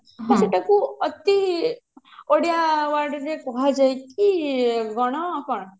ସେଟା କୁ ଅତି ଓଡିଆ word ରେ କୁହାଯାଏ କି ଗଣ କଣ